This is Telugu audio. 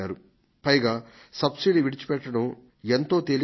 పైగా సబ్సిడీని వదులుకోవడం ఎంతో తేలిక కూడా